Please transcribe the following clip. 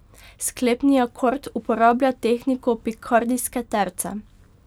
Sklepni akord uporablja tehniko pikardijske terce.